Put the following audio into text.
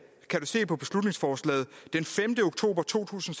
den femte oktober to tusind